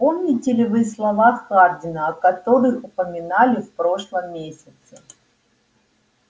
помните ли вы слова хардина о которых упоминали в прошлом месяце